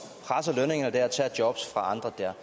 presser lønningerne der og tager jobs fra andre jeg